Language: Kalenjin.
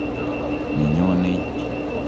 ne nyonei.